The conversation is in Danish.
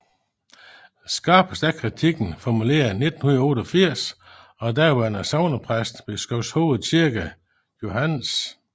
Skarpest er kritikken formuleret i 1988 af daværende sognepræst ved Skovshoved Kirke Johs